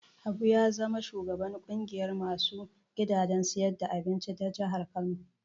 Habu ya zama shugaban ƙungiyar ma su gidajen siyar da abinci ta jihar Kano.